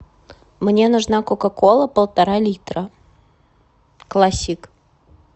мне нужна кока кола полтора литра классик